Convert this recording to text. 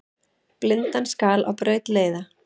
Blindan skal á braut leiða.